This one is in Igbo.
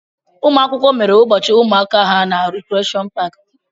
Ụmụ akwụkwọ mere ụbọchị ụmụaka na Rekreshọn paaki.